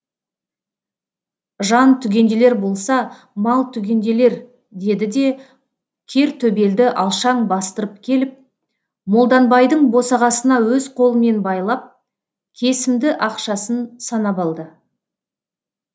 жан түгенделер болса мал түгенделер деді де кертөбелді алшаң бастырып келіп молданбайдың босағасына өз қолымен байлап кесімді ақшасын санап алды